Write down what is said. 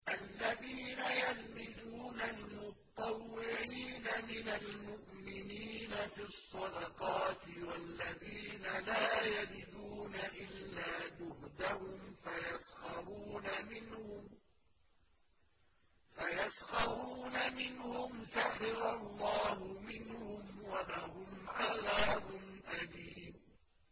الَّذِينَ يَلْمِزُونَ الْمُطَّوِّعِينَ مِنَ الْمُؤْمِنِينَ فِي الصَّدَقَاتِ وَالَّذِينَ لَا يَجِدُونَ إِلَّا جُهْدَهُمْ فَيَسْخَرُونَ مِنْهُمْ ۙ سَخِرَ اللَّهُ مِنْهُمْ وَلَهُمْ عَذَابٌ أَلِيمٌ